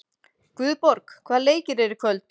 Guðborg, hvaða leikir eru í kvöld?